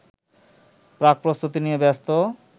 প্রাকপ্রস্তুতি নিয়ে ব্যস্ত